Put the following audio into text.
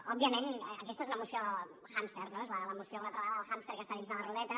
òbviament aquesta és una moció hàmster no és la moció una altra vegada del hàmster que està dins de la rodeta